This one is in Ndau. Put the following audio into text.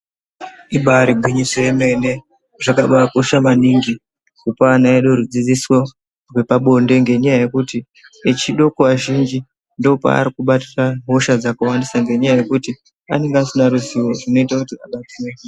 Ibaari gwinyiso yemene zvakabaakosha maningi kupa ana edu rudzidziso rwepabonde ngenyaya yekuti echodoko azhinji ndookwaari kubatira hosha dzakawandisa ngenyaya yekuti anenge asina ruzivo zvinoita kuti abatwe ngechirwere.